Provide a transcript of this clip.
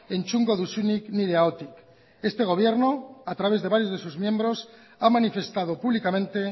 entzungo duzunik nire ahotik este gobierno a través de varios de sus miembros ha manifestado públicamente